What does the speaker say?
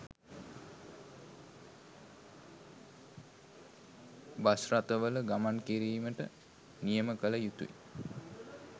Bus රථවල ගමන් කිරීමට නියම කල යුතුයි.